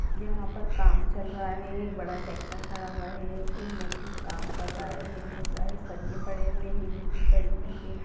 यहाँ पर काम चल रहा है। एक बड़ा ट्रैक्टर खड़ा हुआ है एक मजदूर काम कर रहा है। बहुत सारे सरिये पड़े हुए हैं। गिट्टी पड़ी हुई हैं।